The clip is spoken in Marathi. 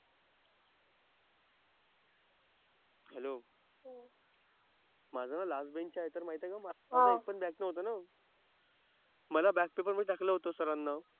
हॅलो. माझं लास्ट बेंच आहे तर माहिती आहे का माझं एकपण नव्हतं ना. मला बॅक पेपरमध्ये टाकलं होतं सरांना.